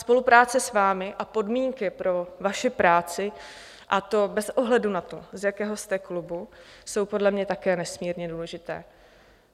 Spolupráce s vámi a podmínky pro vaši práci, a to bez ohledu na to, z jakého jste klubu, jsou podle mě také nesmírně důležité.